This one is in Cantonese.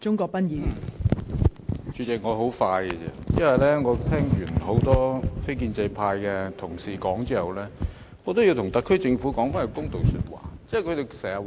代理主席，我的發言會很短，因為我聽過多位非建制派的同事發言後，我要為特區政府說一句公道話。